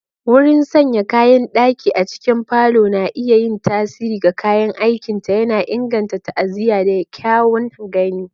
Wurin sanya kayan daki a cikin parlor na iya yin tasiri ga kayan aikinta, yana inganta ta'aziyya da kyawun gani.